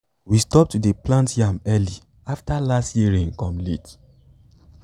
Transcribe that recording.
we stop to dey plant yam early after last year rain come late.